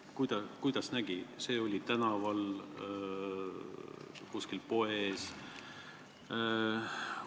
Kuidas see välja nägi, kas see toimus tänaval või kuskil poes?